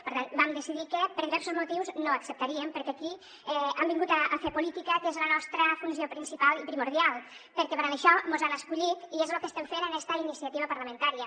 per tant vam decidir que per diversos motius no ho acceptaríem perquè aquí hem vingut a fer política que és la nostra funció principal i primordial perquè per això mos han escollit i és lo que estem fent en esta iniciativa parlamentària